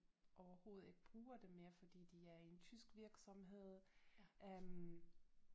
Overhovedet ikke bruger det mere fordi de er i en tysk virksomhed øh